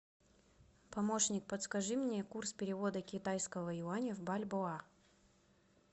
помощник подскажи мне курс перевода китайского юаня в бальбоа